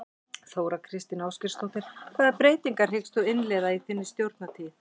Þóra Kristín Ásgeirsdóttir: Hvaða breytingar hyggst þú innleiða í þinni stjórnartíð?